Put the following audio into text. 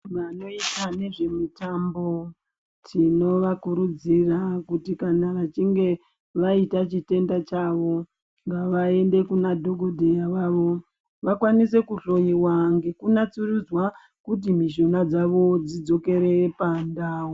Vanoita nezvemitamba tinovakurudzira kuti kana vachinge vaita chitenda chavo ngavaende Kuna dhokodheya vavo vakwanise kuhloiwa nekunatsurudzwa kuti mishuna dzavo dzidzokere pandau.